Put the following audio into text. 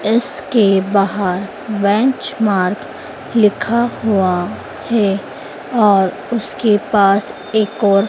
इसके बाहर Vench mart लिखा हुआ हैं और उसके पास एक और--